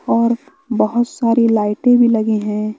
और बहोत सारे लाइटें भी लगी है।